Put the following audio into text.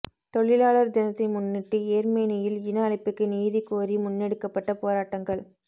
தொழிளாலர் தினத்தை முன்னிட்டு யேர்மனியில் இன அழிப்புக்கு நீதி கோரி முன்னெடுக்கப்பட்ட போராட்டங்கள்